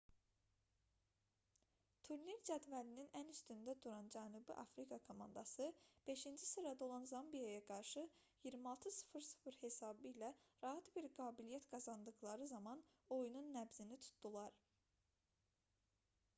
turnir cədvəlinin ən üstündə duran cənubi afrika komandası 5-ci sırada olan zambiyaya qarşı 26:00 hesabı ilə rahat bir qalibiyyət qazandıqları zaman oyunun nəbzini tutdular